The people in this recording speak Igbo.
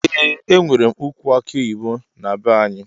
Eeh enwere ukwu aki oyibo na be anyi.